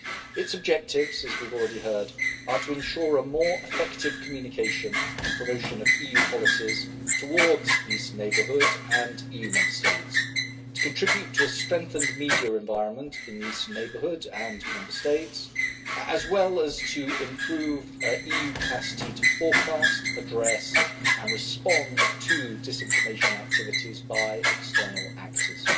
Its objectives, as we have already heard, are to ensure more effective communication and promotion of EU policies towards these neighbourhoods and EU Member States, to contribute to a strengthened media environment in these neighbourhoods and Member States, and to improve EU capacity to forecast, address and respond to disinformation activities by external actors.